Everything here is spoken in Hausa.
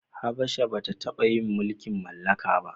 Habasha ba ta taba yin mulkin mallaka ba